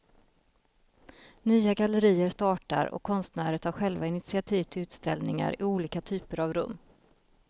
Nya gallerier startar och konstnärer tar själva initiativ till utställningar i olika typer av rum.